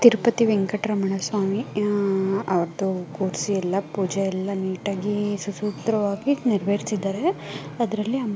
ತಿರುಪತಿ ವೆಂಕಟರಮಣ ಸ್ವಾಮಿ ಅವರ್ದು ಕುರ್ಸಿ ಪೂಜೆ ಎಲ್ಲ ಕುರ್ಸಿ ಸಸೂತ್ರವಾಗಿ ನೆರವೇರಿಸಿದ್ದಾರೆ.